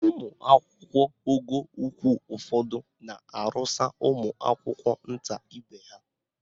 Ụmụakwụkwọ ogo ukwu ụfọdụ na-arụsa ụmụakwụkwọ nta ibe ha.